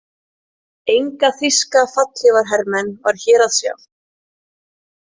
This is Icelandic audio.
Enga þýska fallhlífarhermenn var hér að sjá.